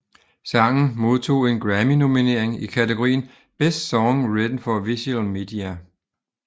Sangen modtog en Grammynominering i kategorien Best Song Written for Visual Media